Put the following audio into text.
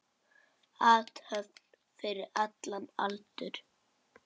Athöfn fyrir allan aldur.